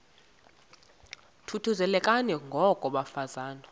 thuthuzelekani ngoko bafazana